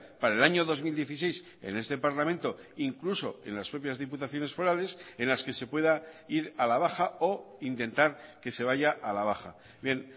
para el año dos mil dieciséis en este parlamento incluso en las propias diputaciones forales en las que se pueda ir a la baja o intentar que se vaya a la baja bien